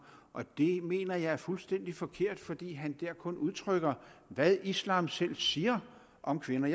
og det mener jeg er fuldstændig forkert fordi han der kun udtrykker hvad islam selv siger om kvinder